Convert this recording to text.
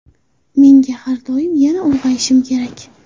Menga har doim ‘Yana ulg‘ayishim kerak.